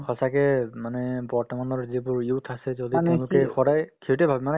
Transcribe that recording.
সঁচাকে মানে বৰ্তমানৰ যিটো youth আছে যদি সদায়ে সেইটোয়ে ভাব মানে